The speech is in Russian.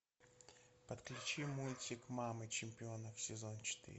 подключи мультик мамы чемпионов сезон четыре